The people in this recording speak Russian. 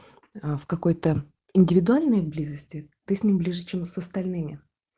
а в какой-то индивидуальной близости ты с ним ближе чем с остальными